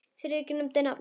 Friðrik nefndi nafn hans.